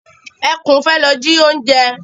Ẹkún fẹ́ lọ ji oúnjẹ.